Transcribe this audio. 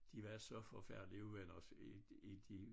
De var så forfærdelig uvenner i i de